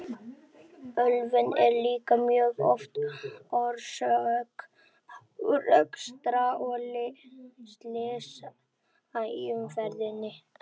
Ölvun er líka mjög oft orsök árekstra og slysa í umferðinni.